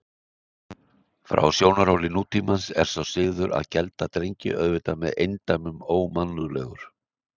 Frá sjónarhóli nútímans er sá siður að gelda drengi auðvitað með eindæmum ómannúðlegur.